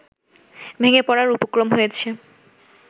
ভেঙে পড়ার উপক্রম হয়েছে